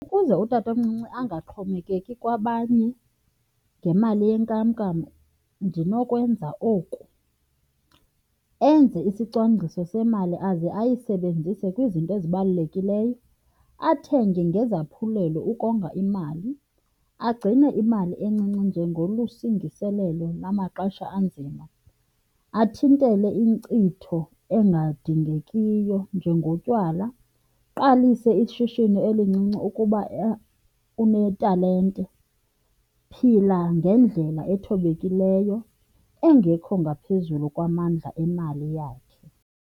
Ukuze utatomncinci angaxhomekeki kwabanye ngemali yenkamnkam ndinokwenza oku. Enze isicwangciso semali aze ayisebenzise kwizinto ezibalulekileyo, athenge ngezaphulelo ukonga imali, agcine imali encinci njengolusindiselelo lamaxesha anzima, athintele inkcitho engadingekiyo njengotywala. Aqalise ishishini elincinci ukuba unetalente, phila ngendlela ethobekileyo engekho ngaphezulu kwamandla emali yakhe.